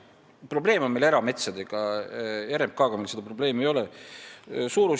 Probleem on erametsadega, RMK-ga seda probleemi ei ole.